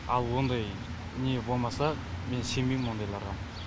ал ондай не болмаса мен сенбеймін ондайларға